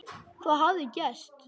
Hvað hafði gerst?